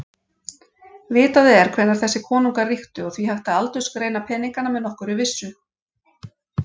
Vitað er hvenær þessir konungar ríktu og því hægt að aldursgreina peningana með nokkurri vissu.